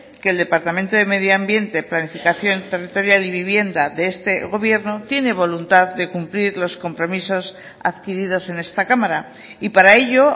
que el departamento de medio ambiente planificación territorial y vivienda de este gobierno tiene voluntad de cumplir los compromisos adquiridos en esta cámara y para ello